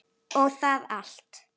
og það allt.